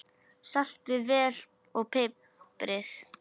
Saltið vel og piprið.